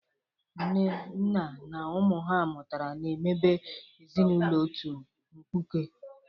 Nne, nna na ụmụ ha mụtara na-emebe ezinaụlọ otu mkpuke.